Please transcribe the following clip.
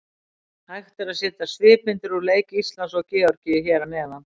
Hægt er að sjá svipmyndir úr leik Íslands og Georgíu hér að neðan.